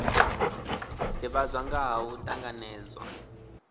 divhadzwa nga ha u tanganedzwa